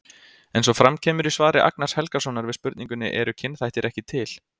Eins og fram kemur í svari Agnars Helgasonar við spurningunni Eru kynþættir ekki til?